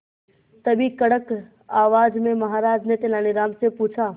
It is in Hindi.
तभी कड़क आवाज में महाराज ने तेनालीराम से पूछा